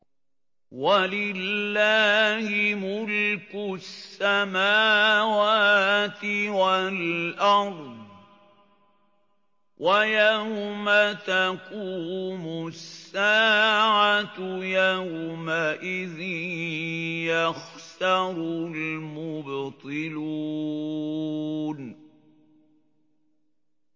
وَلِلَّهِ مُلْكُ السَّمَاوَاتِ وَالْأَرْضِ ۚ وَيَوْمَ تَقُومُ السَّاعَةُ يَوْمَئِذٍ يَخْسَرُ الْمُبْطِلُونَ